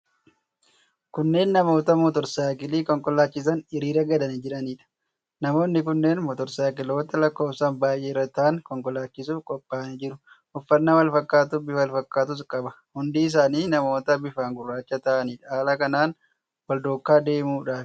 Kunneen namoota mootorsaayikilii konkolaachisan hiriira galanii jiraniidha. Namoonni kunneen mootorsaayikiloota lakkoofsaan baay'ee irra taa'anii konkolaachisuuf qophaa'anii jiru. Uffannaafi wal fakkaatuufi bifa wal fakkaatus qaba. Hundi isaanii namoota bifaan gurraacha ta'aniidha. Haala kanaan wal duukaa eessa deemuudhaafi?